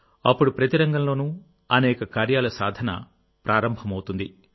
అప్పుడు ప్రతి రంగంలోనూ అనేక కార్యాల సాధన ప్రారంభమవుతుంది